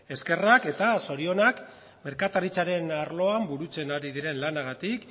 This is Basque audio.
eskerrak eta zorionak merkataritzaren arloan burutzen ari diren lanagatik